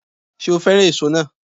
Ṣé o fẹ́ràn èso náà